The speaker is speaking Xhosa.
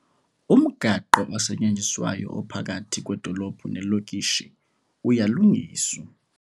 Umgaqo osetyenziswayo ophakathi kwedolophu nelokishi uyalungiswa